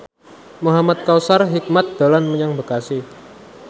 Muhamad Kautsar Hikmat dolan menyang Bekasi